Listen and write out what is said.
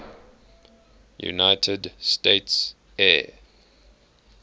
united states air